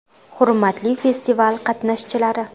Hurmatli festival qatnashchilari!